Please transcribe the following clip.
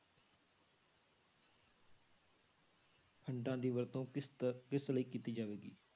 Funds ਦੀ ਵਰਤੋਂ ਕਿਸ ਦਾ ਕਿਸ ਲਈ ਕੀਤੀ ਜਾਵੇਗੀ?